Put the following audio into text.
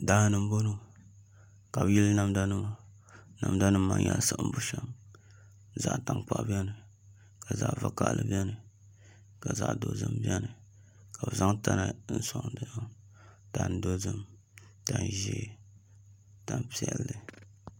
Daani n bɔŋɔ ka bi yili namda nima namda nim maa nyɛla siɣim bushɛm zaɣ tankpaɣu biɛni ka zaɣ vakaɣali biɛni ka zaɣ dozim biɛni ka bi zaŋ tana soŋ nimaani tani dozim tani ʒiɛ tani piɛlli